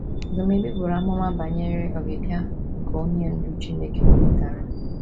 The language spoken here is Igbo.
Dumebi buru amụma banyere ọbịbịa nke Onye Ndú Chineke họpụtara